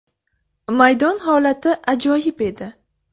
Maydon holati ajoyib edi.